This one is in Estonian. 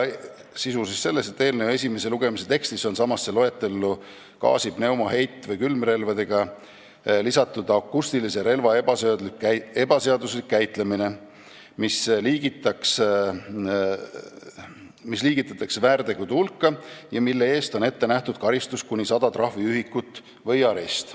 Sisu on selles, et eelnõu esimese lugemise tekstis on samasse loetellu gaasi-, pneumo-, heit- või külmrelvadega lisatud akustilise relva ebaseaduslik käitlemine, mis liigitatakse väärtegude hulka ja mille eest on ette nähtud karistus kuni 100 trahviühikut või arest.